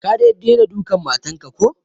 Ka dai dena dukan matan ka ko?